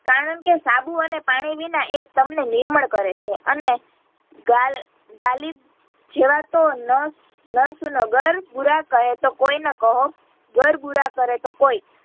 કારણકે સાબુ અને પાણી વિના એ તમને નિર્મલ કરે છે અને ગાલ ગાલિબ જેવા તો નષ્ટ નરસું નો ગર્ગ બુરા કહે તો કોઈ ન કહો ગર્ગ બુરા કરે તો કોઈ